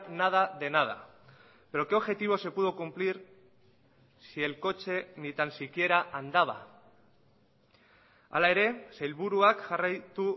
nada de nada pero qué objetivos se pudo cumplir si el coche ni tan siquiera andaba hala ere sailburuak jarraitu